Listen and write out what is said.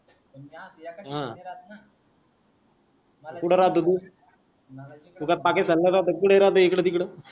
पण मी अस एका ठिकाणी नाय राहत ना मी कुठं राहतो तू तू काय पाकिसीस्तान राहतो कि इकडं तिकडं